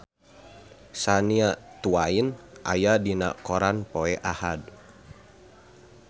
Shania Twain aya dina koran poe Ahad